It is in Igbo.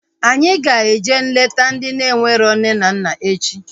Anyị ga-eje leta ndị enwero nne na nna echi